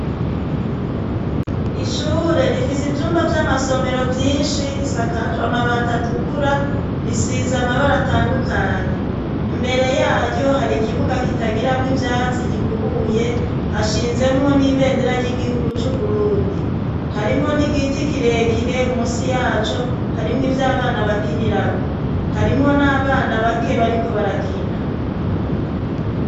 Ishure rifise ivyumba vy'amasomero vyinshi risakajwe amabati atukura risize amabara atandukanye imbere yayo hari ikibuga kitagiramwo ivyatsi gikubuye hashinzemwo n'ibendera ry'igihugu c'uburundi harimwo n'igiti kirekire musi yaco harimwo ivyo abana bakinirako harimwo n' abana bake bariko barakina.